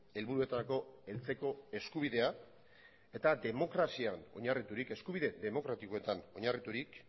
helburuetarako heltzeko eskubidea eta demokrazian oinarriturik eskubide demokratikoetan oinarriturik